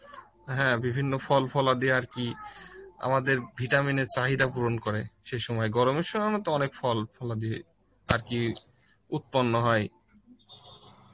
হ্যাঁ বিভ্হিন্ন ফল ফলার দিয়ে আরকি, আমাদের ভিটামিনের চাহিদা পূরণ করে সে সময় গরমের সময় তো আমরা অনেক ফল ফলার দিয়ে আরকি উত্পন্ন হয়